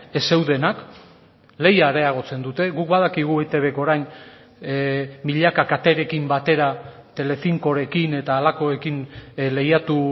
ez zeudenak lehia areagotzen dute guk badakigu eitbk orain milaka katerekin batera telecincorekin eta halakoekin lehiatu